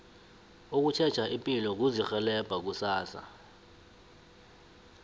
ukutjheja ipilo kuzirhelebha kusasa